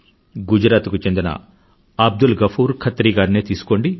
గుజరాత్ కు చెందిన అబ్దుల్ గఫూర్ ఖత్రీ గారినే తీసుకోండి